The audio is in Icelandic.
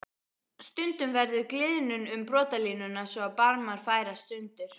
Stundum verður gliðnun um brotalínuna svo að barmar færast sundur.